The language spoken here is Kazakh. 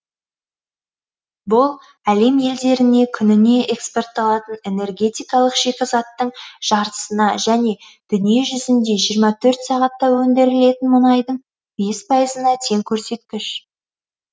бұл әлем елдеріне күніне экспортталатын энергетикалық шикізаттың жартысына және дүниежүзінде жиырма төрт сағатта өндірілетін мұнайдың бес пайызына тең көрсеткіш